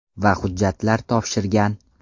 Va hujjatlar topshirgan.